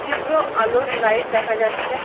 তীব্র আলোর লাইট দেখা যাচ্ছে।